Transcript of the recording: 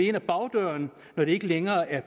ind ad bagdøren når de ikke længere er